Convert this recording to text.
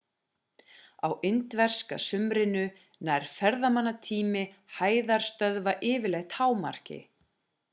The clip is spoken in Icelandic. á indverska sumrinu nær ferðamannatími hæðarstöðva yfirleitt hámarki